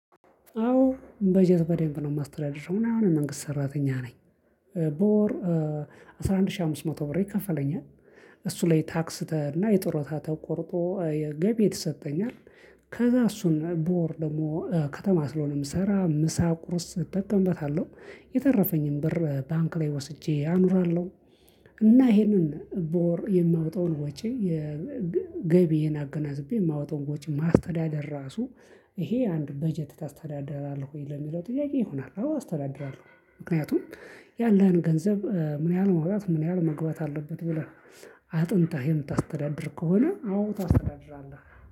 አዎ በጀት በደንብ ነው የማስተዳድረው እና አሁን መንግስት ሰራተኛ ነኝ። በወር አስራ አንድ ሺህ አምስት መቶ ብር ይከፈለኛል። እሱ ላይ ታክስ እና የጡረታ ተቆርጦ የገቢ የተሰጠኛል። ከዛ እሱን በወር ደግሞ ከተማ ስለሆነ እምሰራ ምሳ ቁርስ እጠቀምበታለሁ የተረፈኝን ብር ባንክ ላይ ወስጄ አኑራለሁ። እና ይሄንን በወር የማወጣውን ወጪ የ ገቢዬን አገናዝቤ ማውጣት ወጭ ማስተዳደር ራሱ ይሄ አንድ በጀት ታስተዳደራለህ ይሄ ለሚለው ጥያቄ ይሆናል አስተዳደራለሁ። ምክንያቱም ያለን ገንዘብ ምን ያህል ማውጣት ምን ያህል መግባት አለበት ብለህ አጥንተህ የምታስተዳድር ከሆነ አዎ ታስተዳድራለህ